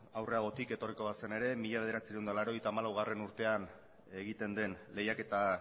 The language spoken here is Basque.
aurreragotik etorriko ba zen ere mila bederatziehun eta laurogeita hamalaugarrena urtean egiten den lehiaketa